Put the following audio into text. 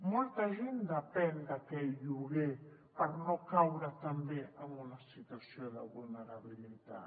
molta gent depèn d’aquell lloguer per no caure també en una situació de vulnerabilitat